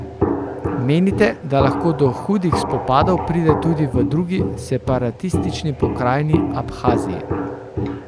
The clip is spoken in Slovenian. Menite, da lahko do hudih spopadov pride tudi v drugi separatistični pokrajini Abhaziji?